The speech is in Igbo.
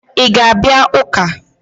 Ị ga-abịa ụka!